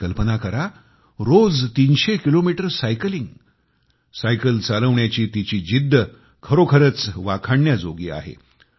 तुम्ही कल्पना करा रोज 300 किलोमीटर सायकलिंग सायकल चालविण्याची तिची जिद्द खरोखरच वाखाणण्याजोगी आहे